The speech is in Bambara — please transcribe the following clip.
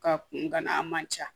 K'a kun gana man ca